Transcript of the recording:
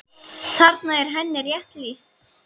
Þarna er henni rétt lýst.